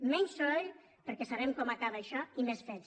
menys soroll perquè sabem com acaba això i més fets